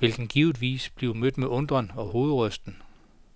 vil den givetvis blive mødt med undren og hovedrysten.